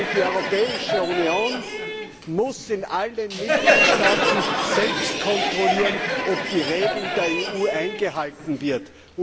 Die Europäische Union muss in allen Mitgliedstaaten selbst kontrollieren, ob die Regeln der EU eingehalten werden.